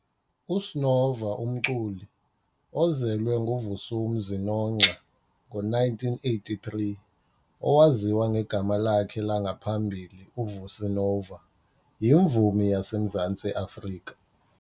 USnova Umculi ozelwe nguVusumuzi Nongxa, ngo-1983, owaziwa ngegama lakhe langaphambili uVusi Nova, yimvumi yase Mzantsi Afrika.